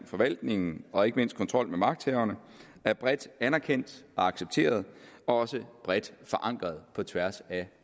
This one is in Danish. forvaltningen og ikke mindst kontrol med magthaverne er bredt anerkendt og accepteret og også bredt forankret på tværs af